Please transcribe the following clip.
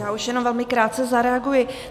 Já už jenom velmi krátce zareaguji.